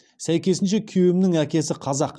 сәйкесінше күйеуімнің әкесі қазақ